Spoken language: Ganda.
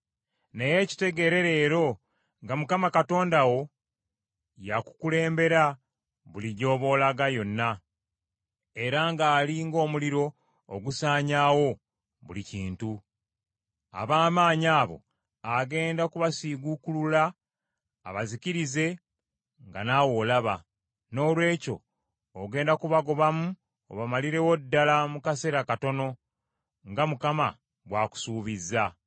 Naye kitegeere leero nga Mukama Katonda wo y’akukulembera buli gy’oba olaga yonna, era ng’ali ng’omuliro ogusaanyaawo buli kintu. Ab’amaanyi abo agenda kubasiguukulula abazikirize nga naawe olaba. Noolwekyo ogenda kubagobamu obamalirewo ddala mu kaseera katono, nga Mukama bw’akusuubizza.